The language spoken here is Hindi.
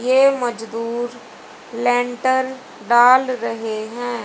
ये मजदूर लेंटर डाल रहे हैं।